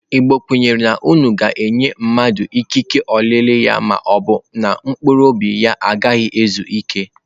Igbo kwere na unu ga-enye mmadụ ikike olili ya ma ọ bụ na mkpụrụ obi ha agaghị ezu ike.